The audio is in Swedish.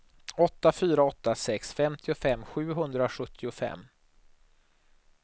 åtta fyra åtta sex femtiofem sjuhundrasjuttiofem